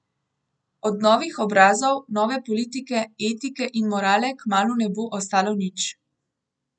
Od novih obrazov, nove politike, etike in morale kmalu ne bo ostalo nič.